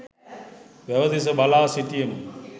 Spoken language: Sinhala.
වැව දෙස බලා සිටියෙමු.